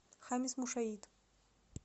хамис мушаит